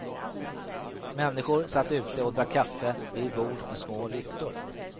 Människor satt ute och drack kaffe vid bord med små lyktor.